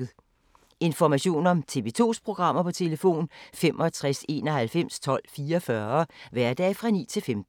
Information om TV 2's programmer: 65 91 12 44, hverdage 9-15.